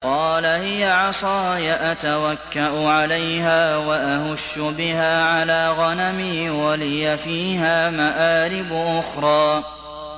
قَالَ هِيَ عَصَايَ أَتَوَكَّأُ عَلَيْهَا وَأَهُشُّ بِهَا عَلَىٰ غَنَمِي وَلِيَ فِيهَا مَآرِبُ أُخْرَىٰ